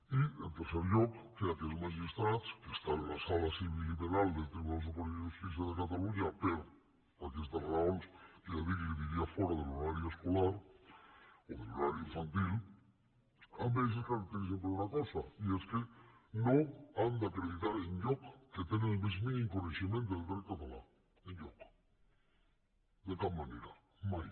i en tercer lloc que aquests magistrats que estan a la sala civil i penal del tribunal superior de justícia de catalunya per aquestes raons que ja dic li diria fora de l’horari escolar o de l’horari infantil a més es caracteritzen per una cosa i és que no han d’acreditar enlloc que tenen el més mínim coneixement del dret català enlloc de cap manera mai